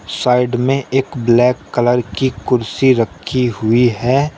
Side में एक black colour की कुर्सी रखी हुई है।